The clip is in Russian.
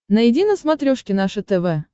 найди на смотрешке наше тв